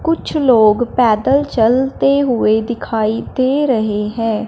कुछ लोग पैदल चलते हुए दिखाई दे रहे हैं।